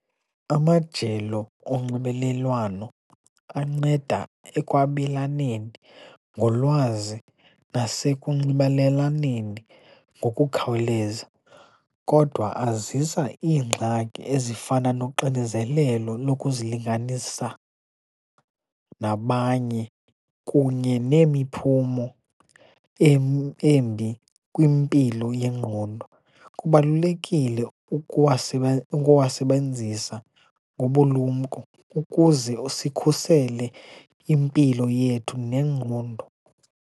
Amajelo onxibelelwano anceda ekwabelaneni ngolwazi nasekunxibelelaneni ngokukhawuleza, kodwa azisa iingxaki ezifana noxinizelelo lokuzilinganisa nabanye kunye nemiphumo embi kwimpilo yengqondo. Kubalulekile ukuwasebenzisa ngobulumko ukuze sikhusele impilo yethu nengqondo.